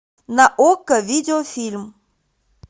на окко видеофильм